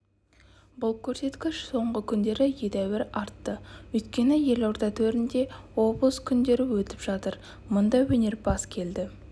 бұл көрсеткіш соңғы күндері әдеуір артты өйткені елорда төрінде облыс күндері өтіп жатыр мыңдай өнерпаз келді